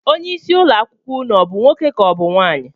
Onyeisi ụlọakwụkwọ unu ọ bụ nwoke ka ọ bụ nwaanyị?